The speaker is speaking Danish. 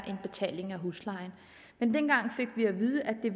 betale huslejen men dengang fik vi at vide at det